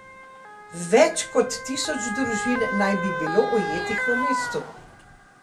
Več kot tisoč družin naj bi bilo ujetih v mestu.